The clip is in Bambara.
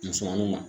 Musaniw kan